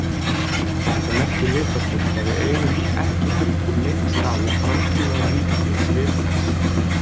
Þetta merkir vitaskuld að við eigum ekki heldur neinn stað í framtíðarríki Svipdags.